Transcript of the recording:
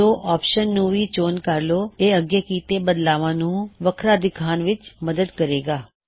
show option ਨੂੰ ਵੀ check ਕਰ ਲੋ ਇਹ ਅੱਗੇ ਕੀੱਤੇ ਬਦਲਾਵਾਂ ਨੂੰ ਵੱਖਰਾ ਦਿਖਾਨ ਵਿੱਚ ਮਦੱਦ ਕਰੇ ਗਾ